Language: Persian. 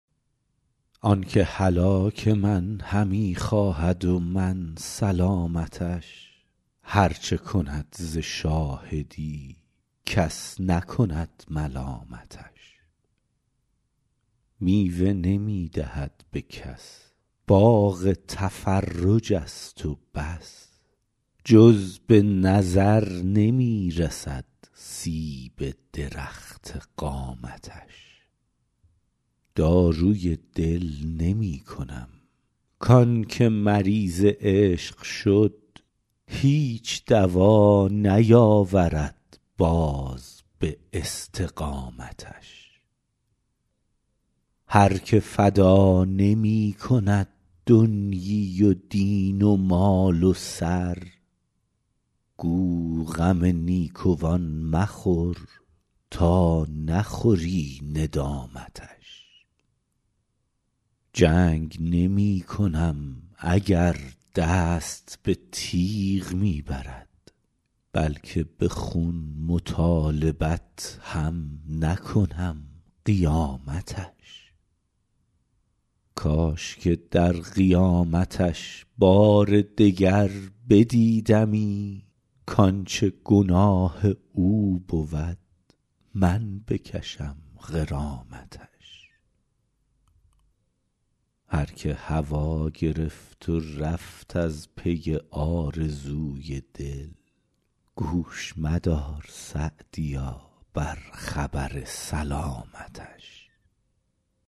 آن که هلاک من همی خواهد و من سلامتش هر چه کند ز شاهدی کس نکند ملامتش میوه نمی دهد به کس باغ تفرج است و بس جز به نظر نمی رسد سیب درخت قامتش داروی دل نمی کنم کان که مریض عشق شد هیچ دوا نیاورد باز به استقامتش هر که فدا نمی کند دنیی و دین و مال و سر گو غم نیکوان مخور تا نخوری ندامتش جنگ نمی کنم اگر دست به تیغ می برد بلکه به خون مطالبت هم نکنم قیامتش کاش که در قیامتش بار دگر بدیدمی کانچه گناه او بود من بکشم غرامتش هر که هوا گرفت و رفت از پی آرزوی دل گوش مدار _سعدیا- بر خبر سلامتش